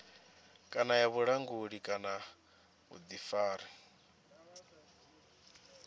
kana ya vhulanguli kana vhuḓifari